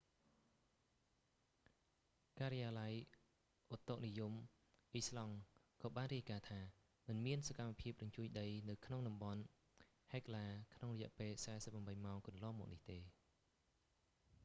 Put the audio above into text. ការិយាល័យឧតុនិយមអ៊ីស្លង់ក៏បានរាយការណ៍ថា មិនមានសកម្មភាពរញ្ជួយដីនៅក្នុងតំបន់ហិកឡា hekla ក្នុងរយៈពេល 48 ម៉ោងកន្លងមកនេះទេ